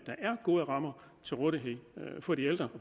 gode rammer til rådighed for de ældre